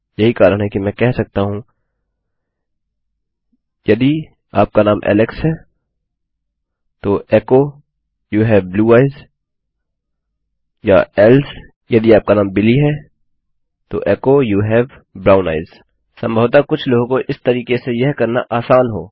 यही कारण है कि मैं कह सकता हूँ यदि आपका नाम ऐलेक्स है तो echo you have blue eyes या एल्से यदि आपका नाम बिली है तो echo you have brown eyes सम्भवतः कुछ लोगों को इस तरीके से यह करना आसान हो